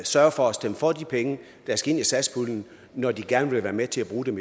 sørge for at stemme for de penge der skal ind i satspuljen når de gerne være med til at bruge dem